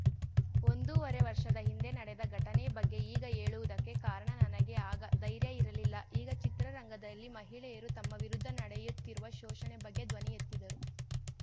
ಒಂದೂವರೆ ವರ್ಷದ ಹಿಂದೆ ನಡೆದ ಘಟನೆ ಬಗ್ಗೆ ಈಗ ಹೇಳುವುದಕ್ಕೆ ಕಾರಣ ನನಗೆ ಆಗ ಧೈರ್ಯ ಇರಲಿಲ್ಲ ಈಗ ಚಿತ್ರರಂಗದಲ್ಲಿ ಮಹಿಳೆಯರು ತಮ್ಮ ವಿರುದ್ಧ ನಡೆಯುತ್ತಿರುವ ಶೋಷಣೆ ಬಗ್ಗೆ ಧ್ವನಿ ಎತ್ತಿದರು